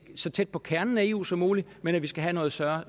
så tæt på kernen af eu som muligt men at vi skal have større